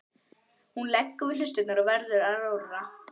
Hún leggur við hlustirnar og verður rórra.